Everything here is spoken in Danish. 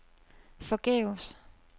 forgæves